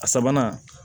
A sabanan